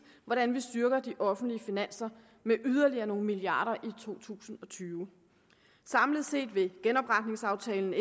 hvordan vi styrker de offentlige finanser med yderligere nogle milliarder i to tusind og tyve samlet set vil genopretningsaftalen